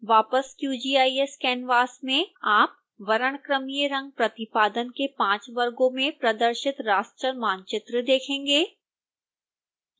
वापस qgis canvas में आप वर्णक्रमीय रंग प्रतिपादन के 5 वर्गों में प्रदर्शित raster मानचित्र देखेंगे